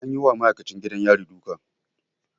An yi wa ma'aikacin gidan yari duka.